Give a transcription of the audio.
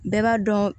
Bɛɛ b'a dɔn